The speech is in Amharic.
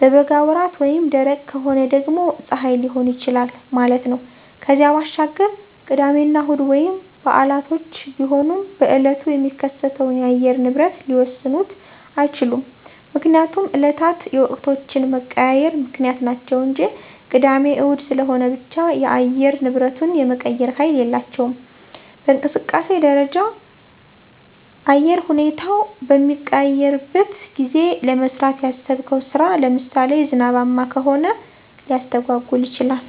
በበጋ ወራት ወይም ደረቅ ከሆነ ደግሞ ፀሐይ ሊሆን ይችላል ማለት ነው። ከዚያ ባሻገር ቅዳሜና እሁድ ወይም በዓላቶች ቢሆኑም በእለቱ የሚከሰተውን የአየር ንብረት ሊወስኑት አይችሉም። ምክንያቱም እለታት የወቅቶች መቀያየር ምክንያት ናቸው እንጂ ቅዳሜ እሁድ ስለሆነ ብቻ የአየር ንብረቱን የመቀየር ሀይል የላቸውም። በእንቅስቃሴ ደረጃ ነአየር ሁኔታው በሚቀያየረሸበት ጊዜ ለመስራት ያሰብከው ስራ ለምሳሌ ዝናባማ ከሆኘ ሊስተጓጎል ይችላል።